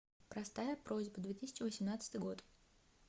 простая просьба две тысячи восемнадцатый год